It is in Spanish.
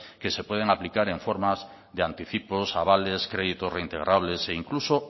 que se pueden aplicar en formas de anticipos avales créditos reintegrables e incluso